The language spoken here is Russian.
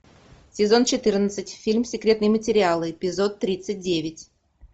сезон четырнадцать фильм секретные материалы эпизод тридцать девять